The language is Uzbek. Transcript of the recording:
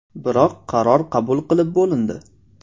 Biroq qaror qabul qilib bo‘lindi.